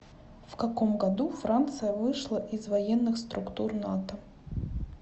в каком году франция вышла из военных структур нато